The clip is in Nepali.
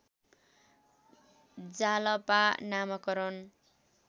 जालपा नामाकरण